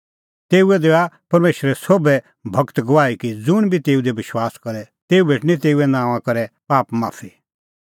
तेऊए दैआ परमेशरे सोभै गूर गवाही कि ज़ुंण बी तेऊ दी विश्वास करे तेऊ भेटणीं तेऊए नांओंआं करै पाप माफी